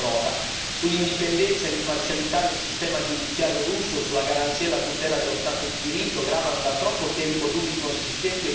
Sull'indipendenza e l'imparzialità del sistema giudiziario russo, sulla garanzia e la tutela dello Stato di diritto gravano da troppo tempo dubbi consistenti e pesanti.